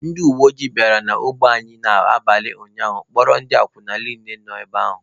Ndị uweojii bịara n'ogbe anyị n'abalị ụnyaahụ kpụkọrọ ndị akwụna niile nọ ebe ahụ